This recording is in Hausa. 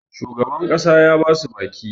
shugaban ƙasa ya ba su baki